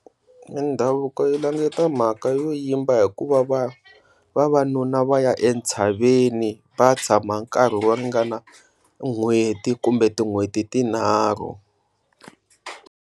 Mindhavuko yi languta mhaka yo yimba hikuva va vavanuna va ya entshaveni va ya tshama nkarhi wo ringana n'hweti kumbe tin'hweti tinharhu.